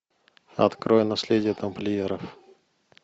открой наследие тамплиеров